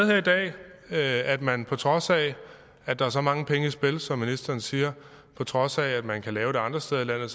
her i dag at man på trods af at der er så mange penge i spil som ministeren siger og på trods af at man kan lave det andre steder i landet